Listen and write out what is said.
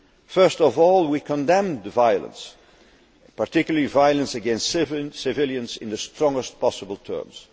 First of all, we condemn the violence, particularly violence against civilians, in the strongest possible terms.